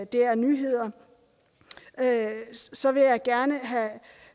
dr nyheder så vil jeg gerne